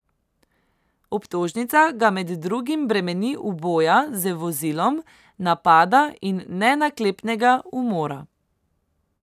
Obtožnica ga med drugim bremeni uboja z vozilom, napada in nenaklepnega umora.